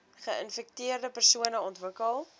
geinfekteerde persone ontwikkel